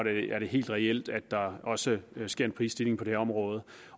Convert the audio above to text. er det helt reelt at der også sker en prisstigning på det område